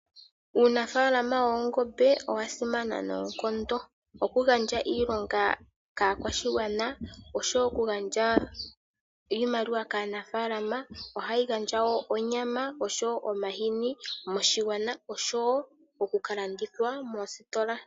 Uunafaalama woongombe owasimana noonkondo, okugandja iilonga kaakwashigwana nosho wo okugandja iimaliwa kaanafaalama, ohawu gandja wo onyama osho wo omahini moshigwana osho wo okukalandithwa koositola.